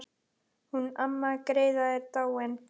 Hún amma Gerða er dáin.